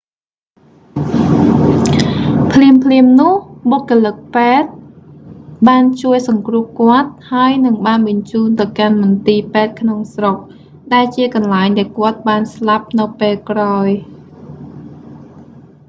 ភ្លាមៗនោះ បុគ្គលិកពេទ្យបានជួយសង្គ្រោះគាត់ ហើយនិងបានបញ្ជូនទៅកាន់មន្ទីរពេទ្យក្នុងស្រុក ដែលជាកន្លែងដែលគាត់បានស្លាប់នៅពេលក្រោយ